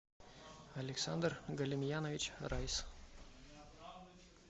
александр галимьянович райз